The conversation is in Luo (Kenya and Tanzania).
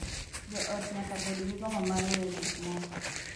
Jo ot nyaka bed gi gombo mar weyo gik moko